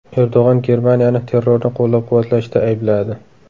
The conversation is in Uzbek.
Erdo‘g‘on Germaniyani terrorni qo‘llab-quvvatlashda aybladi.